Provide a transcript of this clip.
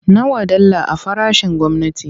Nawa dala a farashin gwamnati?